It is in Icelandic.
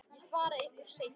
Ég svara ykkur seinna.